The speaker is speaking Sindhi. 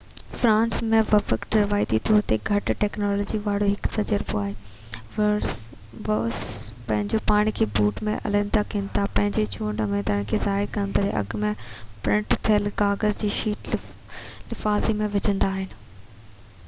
فرانس ۾ ووٽنگ روايتي طور تي گهٽ ٽيڪنالاجيءَ وارو هڪ تجربو آهي ووٽر پنهنجو پاڻ کي بوٽ ۾ علحده ڪن ٿا پنهنجي چونڊ اميدوار کي ظاهر ڪندڙ اڳ ۾ پرنٽ ٿيل ڪاغذ جي شيٽ لفافي ۾ وجهندا آهن